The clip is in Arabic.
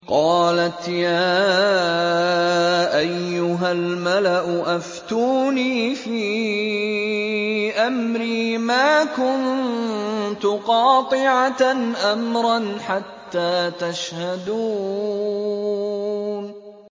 قَالَتْ يَا أَيُّهَا الْمَلَأُ أَفْتُونِي فِي أَمْرِي مَا كُنتُ قَاطِعَةً أَمْرًا حَتَّىٰ تَشْهَدُونِ